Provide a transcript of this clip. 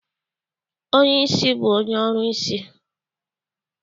Onye ìsì bụ onye ọrụsị.